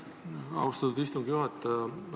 Aitäh, austatud istungi juhataja!